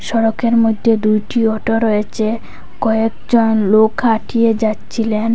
সড়কের মইধ্যে দুইটি অটো রয়েছে কয়েকজন লোক খাটিয়ে যাচ্ছিলেন।